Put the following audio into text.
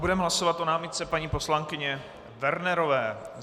Budeme hlasovat o námitce paní poslankyně Wernerové.